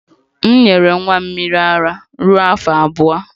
M nyere nwa m mmiri ara ruo afọ abụọ